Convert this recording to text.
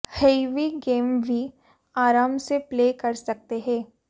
heavy game भी आराम से प्ले कर सकते हैं